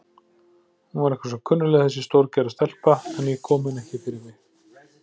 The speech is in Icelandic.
Hún var eitthvað svo kunnugleg þessi stórgerða stelpa, en ég kom henni ekki fyrir mig.